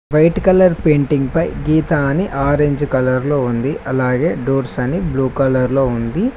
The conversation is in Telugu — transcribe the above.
వైట్ కలర్ పెయింటింగ్ పై గీత అని ఆరెంజ్ కలర్లో ఉంది అలాగే డోర్స్ అని బ్లూ కలర్ లో ఉంది.